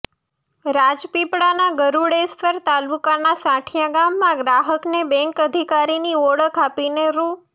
રાજપીપળાના ગરૂડેશ્વર તાલુકાના સાંઠીયા ગામમાં ગ્રાહકને બેન્ક અધિકારીની ઓળખ આપીને રૂ